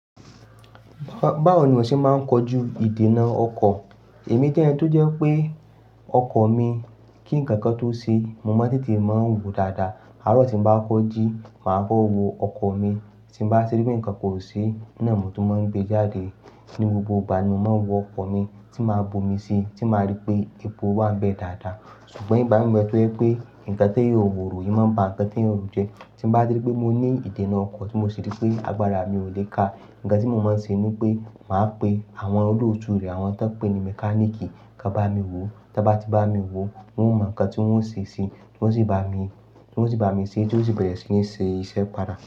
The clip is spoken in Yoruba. Báwo ni ọ́ ṣe máa ń kojú ìdènà ọkọ̀? Èmi jẹ́ ẹni tó jẹ́ pé ọkọ̀ mi kí nkankan tó ṣe, mo máa ń tètè máa ń wòó dáadáa. Àárọ̀ tí n bá kọjí, màá kọ́ wọ ọkọ̀ mi, tí n bá rí pé nǹkan kò ṣi, ná mo tún máa ń gbe jáde. Ni gbogbo ìgbà ni mo máa ń wọ ọkọ̀ mi tí máa bu mi síi, tí màá rí pé epo wa ń bẹ dáadáa. Ṣùgbọ́n ìbá mi wà tó jẹ pé nǹkan tí yóò horò yìí máa ń ba ǹkan tí yóò rùn jẹ́. Tí n bá rí pé mo ní ìdènà ọkọ̀ tí mo rí pé agbára mi ò le ka. Ǹkan tí mo máa ń ṣe ni pé màá pe àwọn olóòtú rẹ̀, àwọn tó pè ní mechanic, kàn bá mi wò. Tí wọ́n bá ti bá mi wò, wọ́n ó mọ ǹkan tí wọ́n ó ṣe síi, tí wọ́n sì bá mi, tí wọ́n sì bá mi ṣe, tí ó sì bẹ̀rẹ̀ sí ní ṣe iṣẹ́ padà.